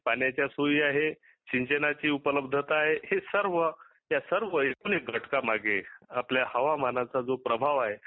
पाण्याच्या सोयी आहे सिंचनाची उपलबंधता आहे. हे सर्व एकणू घटाका माघे आपला हवामानाचा जो प्रभाव आहे